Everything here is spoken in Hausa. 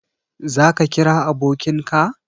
Za ka kira abokin ka?